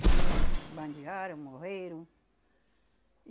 Todos bandearam, morreram.